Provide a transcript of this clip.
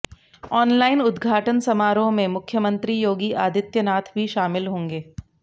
online उद्घाटन समारोह में मुख्यमंत्री योगी आदित्यनाथ भी शामिल होंगे